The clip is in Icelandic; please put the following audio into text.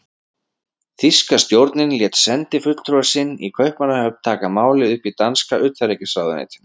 Þýska stjórnin lét sendifulltrúa sinn í Kaupmannahöfn taka málið upp í danska utanríkisráðuneytinu.